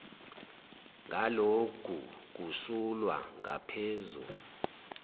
ngaloku kusulwa ngaphezu